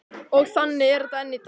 Og þannig er þetta enn í dag.